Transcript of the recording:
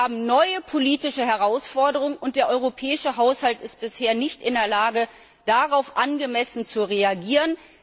Wir haben neue politische Herausforderungen, und der europäische Haushalt ist bisher nicht in der Lage, darauf angemessen zu reagieren.